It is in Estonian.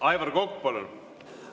Aivar Kokk, palun!